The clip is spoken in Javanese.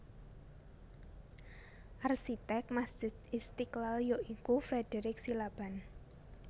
Arsitek Masjid Istiqlal ya iku Frederich Silaban